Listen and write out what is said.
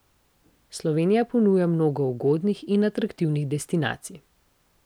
Slovenija ponuja mnogo ugodnih in atraktivnih destinacij.